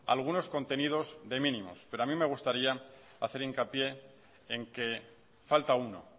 algunos contenidos de mínimos pero a mí me gustaría hacer hincapié en que falta uno